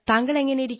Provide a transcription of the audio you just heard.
താങ്കൾ എങ്ങനെ